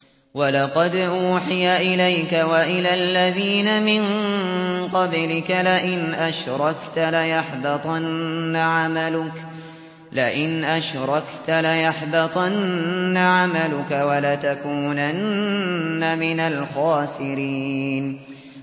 وَلَقَدْ أُوحِيَ إِلَيْكَ وَإِلَى الَّذِينَ مِن قَبْلِكَ لَئِنْ أَشْرَكْتَ لَيَحْبَطَنَّ عَمَلُكَ وَلَتَكُونَنَّ مِنَ الْخَاسِرِينَ